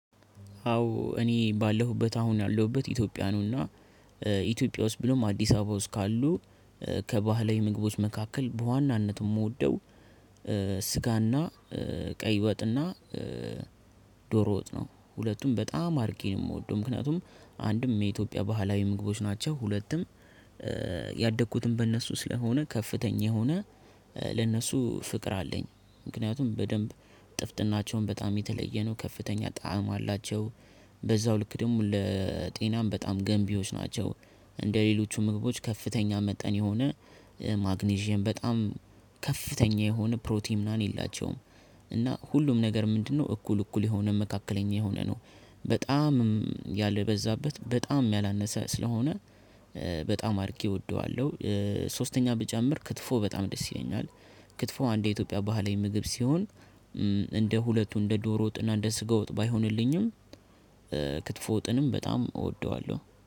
አዎ እኔ ባለሁበት አሁን ያለሁበት ኢትዮጵያ ነውና። ኢትዮጵያ ውስጥ ብሎም አዲስ አበባ ውስጥ ካሉ። ከባህላዊ ምግቦች መካከል በዋናነት የምወደው። ስጋና ቀይ ወጥና ዶሮ ወጥ ነው። ሁለቱም በጣም አርጌ ነው የምወደው ምክንያቱም አንድም የኢትዮጵያ ባህላዊ ምግቦች ናቸው። ሁለቱም ያደኩትም በእነሱ ስለሆነ ከፍተኛ የሆነ ለእነሱ ፍቅር አለኝ። ምክንያቱም በደንብ ጥፍጥናቸውን በጣም የተለየ ነው ከፍተኛ ጣዕም አላቸው። በዛው ልክ ደግሞ ለጤናም በጣም ገንቢዎች ናቸው። እንደሌሎቹ ምግቦች ከፍተኛ መጠን የሆነ ማግኒዥየም በጣም ከፍተኛ የሆነ ፕሮቲን ምናምን የላቸውም። እና ሁሉም ነገር ምንድነው እኩል እኩል የሆነ መካከለኛ የሆነ ነው። በጣም ያልበዛበት በጣም ያላነሰ ስለሆነ በጣም አድርጌ እወደዋለሁ። ሶስተኛ ብጨምር ክትፎ በጣም ደስ ይለኛል። ክትፎ አንድ የኢትዮጵያ ባህላዊ ምግብ ሲሆን እንደ ሁለቱ እንደ ዶሮ ወጥና እንደ ስጋ ወጥ ባይሆንልኝም ክትፎ ወጥንም በጣም እወደዋለሁ